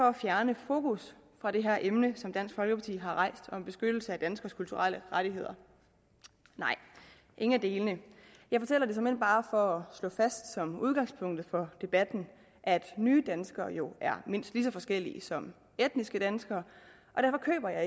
at fjerne fokus fra det her emne som dansk folkeparti har rejst om beskyttelse af danskernes kulturelle rettigheder nej ingen af delene jeg fortæller det såmænd bare for at slå fast som udgangspunkt for debatten at nye danskere jo er mindst lige så forskellige som etniske danskere og derfor køber jeg